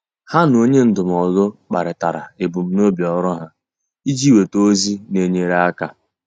Há na onye ndụmọdụ kparịtara ebumnobi ọ́rụ́ ha iji nwéta ózị́ nà-ènyéré áká.